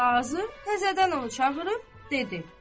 Qazı təzədən onu çağırıb dedi: